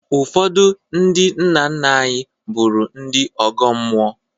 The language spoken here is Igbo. Ụfọdụ ndị nna nna anyị bụrụ ndị ọgọ mmụọ